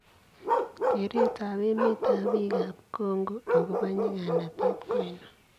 Kereet ab emet ab biik ab Congo agobo nyiganatet kwoinon?